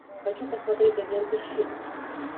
хочу посмотреть агенты щит